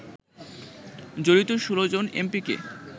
জড়িত ১৬ জন এমপিকে